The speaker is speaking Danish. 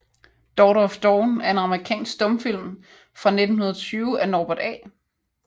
Daughter of Dawn er en amerikansk stumfilm fra 1920 af Norbert A